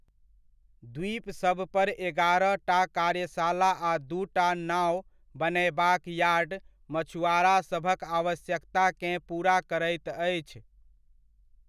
द्वीपसबपर एगारहटा कार्यशाला आ दूटा नाओ बनयबाक यार्ड मछुआरासभक आवश्यकताकेँ पूरा करैत अछि।